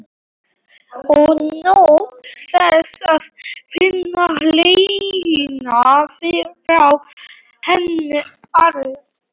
Og naut þess að finna hlýjuna frá henni allri.